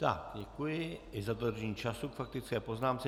Tak děkuji, i za dodržení času k faktické poznámce.